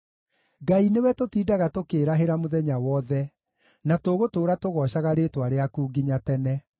Ngai nĩwe tũtindaga tũkĩĩrahĩra mũthenya wothe, na tũgũtũũra tũgoocaga rĩĩtwa rĩaku nginya tene.